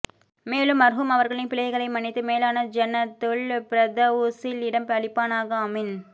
மேலும் மர்ஹூம் அவர்களின் பிழைகளை மன்னித்து மேலான ஜன்னத்துல் பிர்தவுஸில் இடம் அளிப்பானாக ஆமீன்